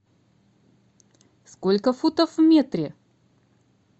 сколько футов в метре